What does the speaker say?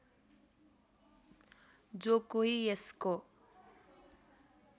जो कोही यसको